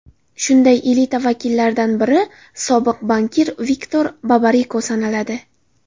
Shunday elita vakillaridan biri sobiq bankir Viktor Babariko sanaladi.